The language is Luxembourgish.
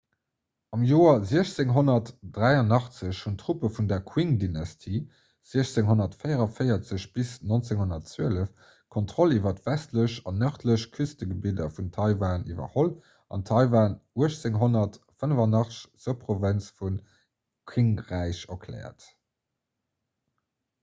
am joer 1683 hunn d'truppe vun der qing-dynastie 1644 – 1912 d'kontroll iwwer d'westlech an nërdlech küstegebidder vun taiwan iwwerholl an taiwan 1885 zur provënz vun qing-räich erkläert